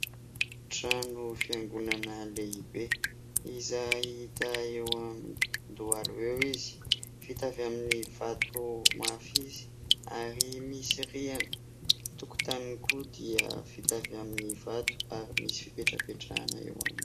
Trano fiangonana lehibe, izay hita eo Andohalo eo izy. Vita avy amin'ny vato mafy izy ary misy rihana. Ny tokotaniny koa dia vita avy amin'ny vato ary misy fipetrapetrahana eo aminy.